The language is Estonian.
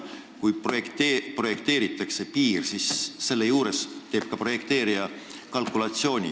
Kui projekteeritakse piiri, siis projekteerija teeb ka kalkulatsiooni.